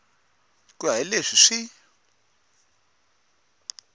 ku ya hi leswi swi